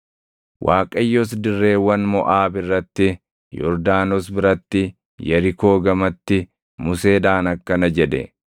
Waaqayyos dirreewwan Moʼaab irratti, Yordaanos biratti, Yerikoo gamatti Museedhaan akkana jedhe;